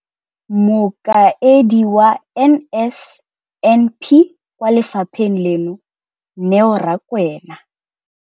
Mokaedi wa NSNP kwa lefapheng leno, Neo Rakwena,